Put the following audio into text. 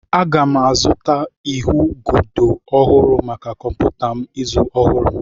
Aga m azụta ahụigodo ọhụrụ maka kọmputa m izu ọhụrụ.